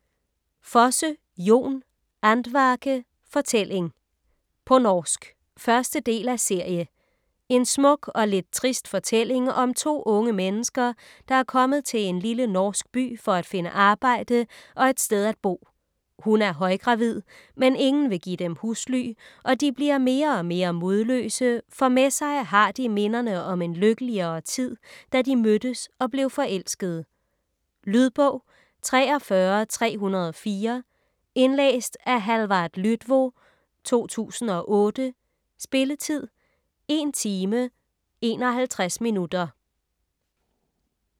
Fosse, Jon: Andvake: forteljing På norsk. 1. del af serie. En smuk og lidt trist fortælling om to unge mennesker, der er kommet til en lille norsk by for at finde arbejde og et sted at bo. Hun er højgravid, men ingen vil give dem husly, og de bliver mere og mere modløse, for med sig har de minderne om en lykkeligere tid, da de mødtes og blev forelskede. Lydbog 43304 Indlæst af Hallvard Lydvo, 2008. Spilletid: 1 timer, 51 minutter.